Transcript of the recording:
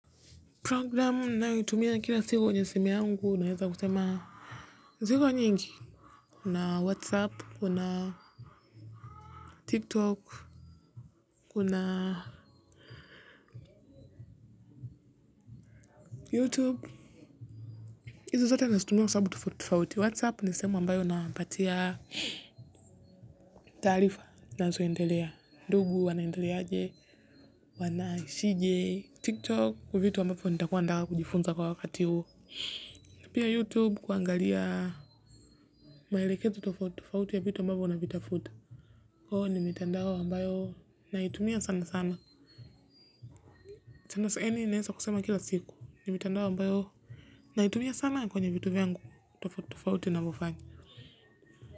Program ninayotumia kila siku kwenye simu yangu naweza kusema kusema nyingi kuna whatsapp, kuna tiktok kuna youtube hizi zote nazitumia kwa sababu tofauti tofauti whatsapp ni sehemu ambayo napatia taarifa zinazoendelea ndugu wanaendeleaje wanaishije tiktok kwa vitu ambavyo nitakuwa nataka kujifunza kwa wakati huu na pia youtube kuangalia maelekezo tofauti ya vitu ambavyo navitafuta kwa hiyo ni mitandao ambayo naitumia sana sana. Sahii naeza kusema kila siku, ni mtandao ambao sana kwenye vitu vyangu tofauti tofauti nazofanya.